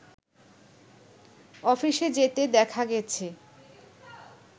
অফিসে যেতে দেখা গেছে